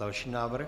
Další návrh.